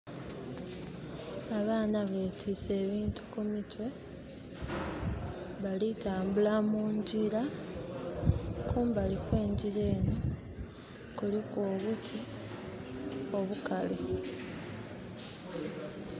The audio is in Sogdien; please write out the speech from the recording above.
Abaana betise ebintu kumitwe, bali tambula mungira kumbali kwe njira enho kuliku obuti obukalu.